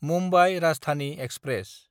Mumbai Rajdhani express